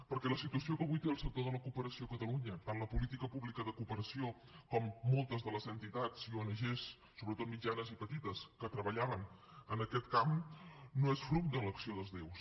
perquè la situació que avui té el sector de la cooperació a catalunya tant la política pública de cooperació com moltes de les entitats i ong sobretot mitjanes i petites que treballaven en aquest camp no és fruit de l’acció dels déus